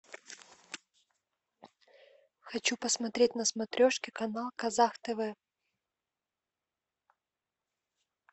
хочу посмотреть на смотрешке канал казах тв